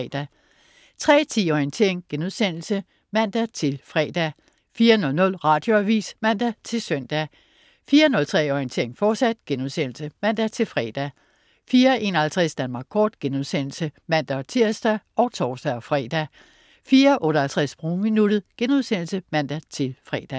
03.10 Orientering* (man-fre) 04.00 Radioavis (man-søn) 04.03 Orientering, fortsat* (man-fre) 04.51 Danmark kort* (man-tirs og tors-fre) 04.58 Sprogminuttet* (man-fre)